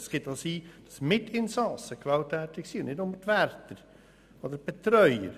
Es kann auch sein, dass Mitinsassen gewalttätig sind, nicht nur die Wärter oder die Betreuer.